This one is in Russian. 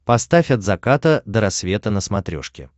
поставь от заката до рассвета на смотрешке